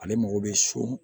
Ale mago bɛ so